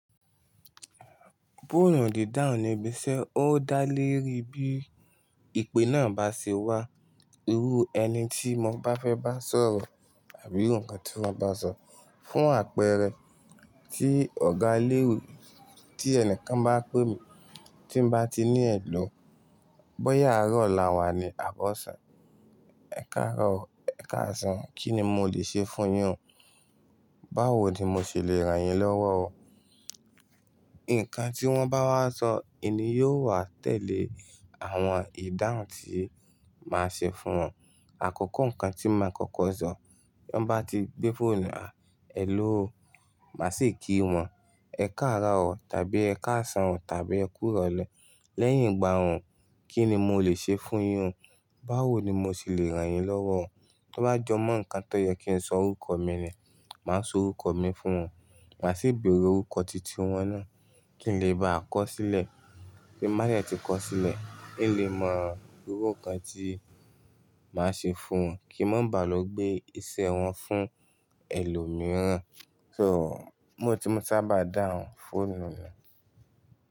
Fóònù dì dáhùn níbi iṣẹ́, ó dá leri bí ìpè náà bá ṣe wá. Irú ẹni tí mo bá fẹ́ bá sọ̀rọ̀ àbí iru nkan tí wọ́n bá sọ fún àpẹẹrẹ, tí ọ̀gá ilewè, tí ẹni kan bá pè mí tí ń bá ti ní ẹ̀lọ́, bóyá àárọ̀ ọ̀la wa ni àbọ̀sán, ẹ̀kaàró ọ, ẹ̀kaàsán, kí ni mo lè ṣe fún yín ọ? Báwo ni mo ṣe lè ràn yín lọ́wọ́ ọ? Ǹkan tí wọ́n bá wá sọ, ìní yóò wá tẹ̀lé àwọn ìdáhùn tí màá ṣe fún wọn. Àkókò ǹkan tí màá kọ́kọ́ sọ, tí wọ́n bá ti gbé fóònù náà, hello, màá sì kí wọn, ẹ káàro ọ tàbí ẹ káàsán o tàbí ẹ kú ìrọ̀lẹ́. Lẹ́yìn ìgbà wọ̀n, kí ni mo lè ṣe fún yín ọ? Báwo ni mo ṣe lè ràn yín lọ́wọ́ ọ? To bá jọ mọ́ ǹkan tó yẹ kí n sọ orúkọ mi ni, màá sọ orúkọ mi fún wọn. Màá sì bèèrè orúkọ titi wọn náà, kí n lè báà kọ̀ sílẹ̀. Bí màá dẹ̀ tí kọ sílẹ̀, ín lè mọ irú ǹkan tí màá ṣe fún wọn. Kí wọ́n má baà lọ gbé iṣẹ́ wọn fún ẹlòmíràn. So, bi mó ti maa sábà dáhùn fóònù ni.